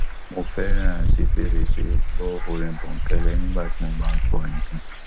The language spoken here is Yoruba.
mo fẹràn ṣí fèrèsé gbọ orin bònkẹlẹ nígbà tí mo bá ń fọ nǹkan